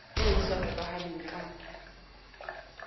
eo e sa hokahaneng ka